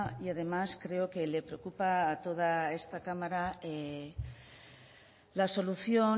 y además creo que le preocupa a toda esta cámara la solución